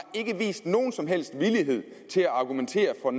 ikke vist nogen som helst villighed til at argumentere for